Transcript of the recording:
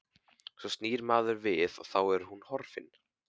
Svo snýr maður við og þá er hún horfin.